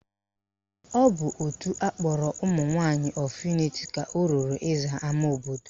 Ọ bụ òtù akpọrọ Women of Unity ka o ruru ịza ama obodo